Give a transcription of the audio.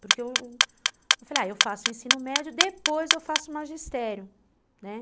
Porque eu falei, ah, eu faço o ensino médio, depois eu faço o magistério, né?